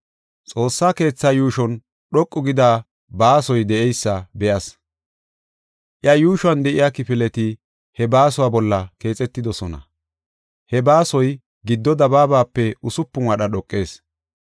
Xoossa keethaa yuushon dhoqu gida baasoy de7eysa be7as. Iya yuushuwan de7iya kifileti he baasuwa bolla keexetidosona; he baasoy giddo dabaabape usupun wadha dhoqees.